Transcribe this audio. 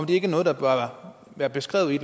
det ikke noget der bør være beskrevet i